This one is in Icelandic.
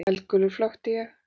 Eldgulur flökti ég.